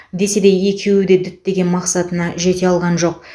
десе де екеуі де діттеген мақсатына жете алған жоқ